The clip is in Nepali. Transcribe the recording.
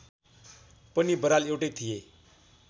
पनि बराल एउटै थिए